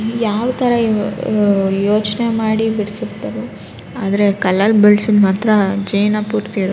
ಯಾವ ತರಇವ್ ಅಅಅ ಯೋಚ್ನೆ ಮಾಡಿ ಬಿಡಿಸಿರ್ತಾರೋ ಆದ್ರೆ ಕಲ್ಲಲ್ ಬಿಡ್ಸಿದ್ ಮಾತ್ರ ಜೀವನ ಪೂರ್ತಿ ಇರ --